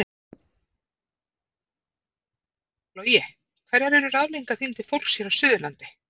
Logi: Hverjar eru ráðleggingar þínar til fólks hér á suðurlandi?